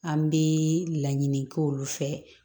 An bɛ laɲini kɛ olu fɛ